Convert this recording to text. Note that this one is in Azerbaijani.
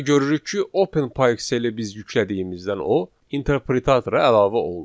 Və görürük ki, OpenPyXL-i biz yüklədiyimizdən o interpretatora əlavə olunub.